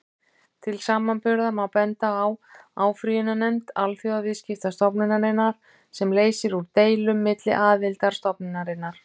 Til samanburðar má benda á áfrýjunarnefnd Alþjóðaviðskiptastofnunarinnar, sem leysir úr deilum milli aðildarríkja stofnunarinnar.